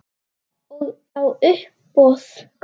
Og á uppboð.